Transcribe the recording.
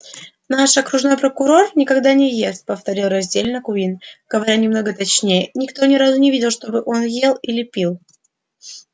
наш окружной прокурор никогда не ест повторил раздельно куинн говоря немного точнее никто ни разу не видел чтобы он ел или пил